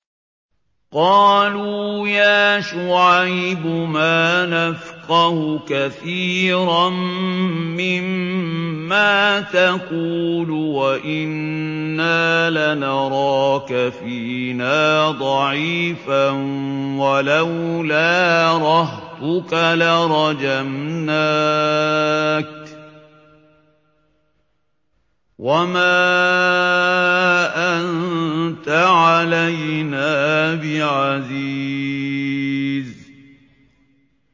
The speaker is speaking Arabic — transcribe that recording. قَالُوا يَا شُعَيْبُ مَا نَفْقَهُ كَثِيرًا مِّمَّا تَقُولُ وَإِنَّا لَنَرَاكَ فِينَا ضَعِيفًا ۖ وَلَوْلَا رَهْطُكَ لَرَجَمْنَاكَ ۖ وَمَا أَنتَ عَلَيْنَا بِعَزِيزٍ